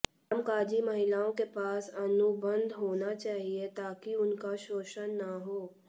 कामकाजी महिलाओं के पास अनुबंध होना चाहिए ताकि उनका शोषण न हो